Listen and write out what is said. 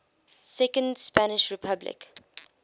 second spanish republic